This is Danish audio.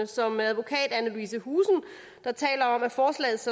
som advokat anne louise husen der taler om at forslaget